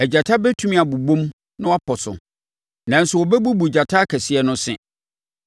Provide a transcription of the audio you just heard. Agyata bɛtumi abobom na wɔapɔ so, nanso wɔbɛbubu gyata akɛseɛ no se.